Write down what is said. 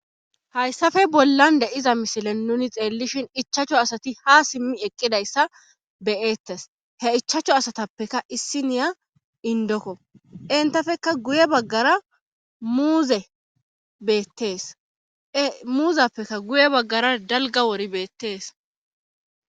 hayssafe bollan de7iza mishilen nuni xeellishin ichacho asati ha simmi eqqidayssa beyeettes he ichacho asatappeka issi niya indokko entafeka guye baggara muuze beetteesmuuzappeka guye baggara dalga wori beettees